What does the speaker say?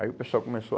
Aí o pessoal começou.